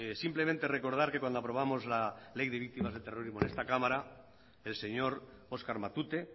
simplemente recordar que cuando aprobamos la ley de victimas de terrorismo en esta cámara el señor oskar matute